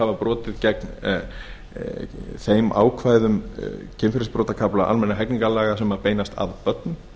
hafa brotið gegn þeim ákvæðum kynferðisbrotakafla almennra hegningarlaga sem beinast að börnum